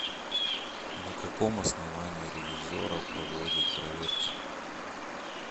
на каком основании ревизорро проводит проверки